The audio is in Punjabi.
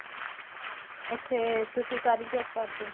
ਉੱਥੇ ਤੁਸੀਂ ਕਾਹਦੀ job ਕਰਦੇ ਹੋ